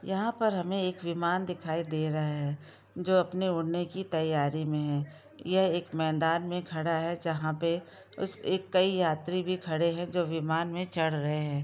यहाँ पर हमे एक विमान दिखाई दे रहा है जो अपने उड़ने की तैयारी में है यह एक मैदान में खड़ा है जहा पे उसके कई यात्री भी खड़े है जो विमान मे चढ़ रहे है।